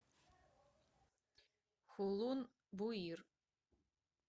хулун буир